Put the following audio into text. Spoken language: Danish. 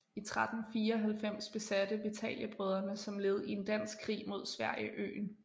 I 1394 besatte Vitaliebrødrene som led i en dansk krig mod Sverige øen